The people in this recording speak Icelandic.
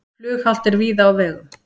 Flughált er víða á vegum